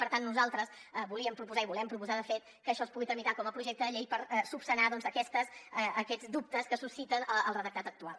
per tant nosaltres volíem proposar i volem proposar de fet que això es pugui tramitar com a projecte de llei per esmenar aquests dubtes que suscita el redactat actual